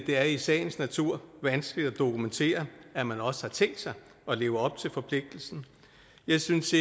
er i sagens natur vanskeligt at dokumentere at man også har tænkt sig at leve op til forpligtelsen jeg synes